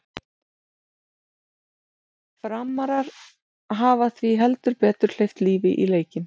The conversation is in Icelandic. Framarar hafa því heldur betur hleypt lífi í leikinn!